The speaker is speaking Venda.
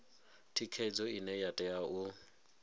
thikhedzo ine ya tea u